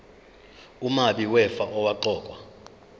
umabi wefa owaqokwa